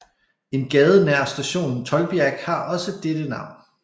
En gade nær stationen Tolbiac har også dette navn